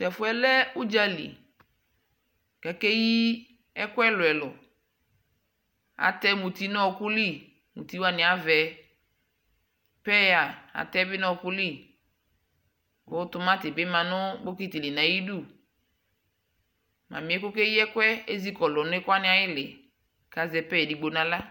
tɛƒʋɛ lɛ ʋdzali kʋakɛyi ɛkʋ ɛlʋɛlʋ, atɛ mʋti nʋ ɔkʋli, mʋti waniavɛ, paya atɛi bi nʋ ɔkʋli kʋ tʋmati bi manʋbɔkiti di ayidʋ, mamiɛ kʋ ɔkɛ yi ɛkʋɛ ɛzikɔlʋ nʋ ɛkʋ waniayili kʋazɛ pear ɛdigbɔ nʋ ala